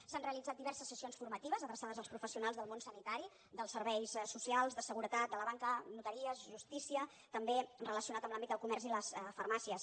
s’han realitzat diverses sessions formatives adreçades als professionals del món sanitari dels serveis socials de seguretat de la banca notaries justícia també relacionat amb l’àmbit del comerç i les farmàcies